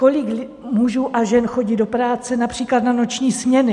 Kolik mužů a žen chodí do práce například na noční směny?